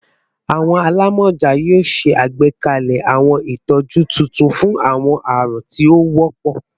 Awọn alamọja yoo ṣe agbekalẹ awọn itọju tuntun fun awọn arun ti o wọpọ